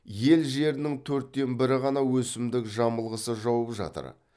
ел жерінің төрттен бірі ғана өсімдік жамылғысы жауып жатыр